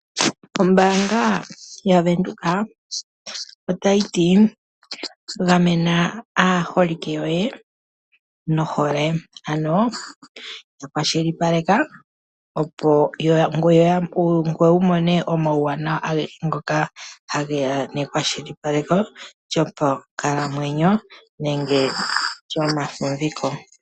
Ombaanga yaVenduka otayi ti gamena aaholike yoye nohole, ano ya kwashilipaleka ngoye wu mone omauwanawa agehe ngoka ha ge ya nekwashilipaleko lyopankakamwenyo nenge lyomafumviko.